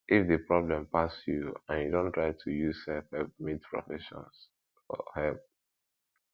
if di problem pass you and and you don try to use self help meet professions for help